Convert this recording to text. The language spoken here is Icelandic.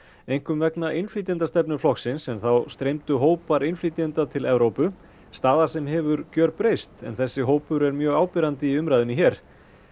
einkum vegna innflytjendastefnu flokksins en þá streymdu hópar innflytjenda til Evrópu staða sem hefur gjörbreyst en þessi hópur er mjög áberandi í umræðunni hér